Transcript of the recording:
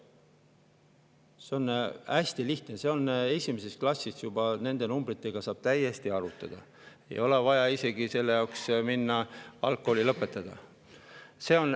See on hästi lihtne, juba esimeses klassis täiesti saab nende numbritega arvutada, ei ole vaja selle jaoks isegi algkooli lõpetada.